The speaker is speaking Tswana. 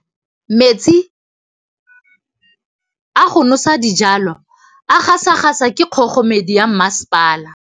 Metsi a go nosetsa dijalo a gasa gasa ke kgogomedi ya masepala.